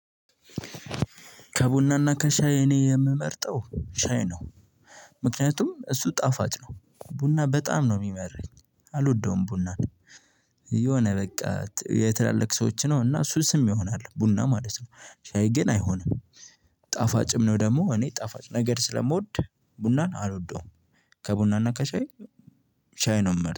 ከቡናና ከሻይ እኔ የምመርጠው ሻይ ነው። ምክንያቱም እሱ ጣፋጭ ነው ቡና በጣም ነው የሚመረኝ። አልወደውም ቡና። የሆነ በቃ የትላልቅ ሰዎች ነው እና ሱስም ይሆናል ቡና ማለት ነው። ሻይ ግን አይሆንም። ጣፋጭም ነው ደግሞ እኔ ጣፋጭ ነገር ስለምወድ ቡናን አልወደውም። ከቡናና ከሻይ ሻይ ነው የምመርጠው